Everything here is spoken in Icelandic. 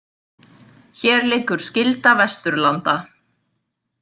Hér liggur skylda Vesturlanda.